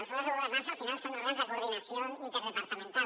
els òrgans de governança al final són òrgans de coordinació interdepartamental